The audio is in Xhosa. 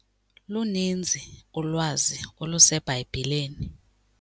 Luninzi ulwazi oluseBhayibhileni.